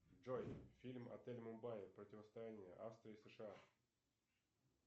джой фильм отель мумбаи противостояние австрия сша